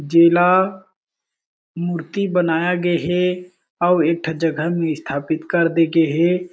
जिला मूर्ति बनाये गे हे अउ एक ठा जगह में स्थापित करदे गे हे।